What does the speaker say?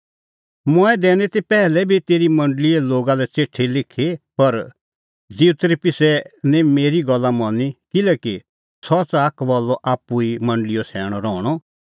मंऐं दैनी ती पैहलै बी तेरी मंडल़ीए लोगा लै च़िठी लिखी पर दिऊतरिप्सै निं मेरी गल्ला मनी किल्हैकि सह च़ाहा कबल्लअ आप्पू ई मंडल़ीओ सैणअ रहणअ